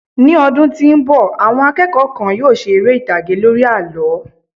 mi ọdún tí nbọ, àwọn akẹ́kọ̀ọ́ kan yíò ṣe ere itage lori àlọ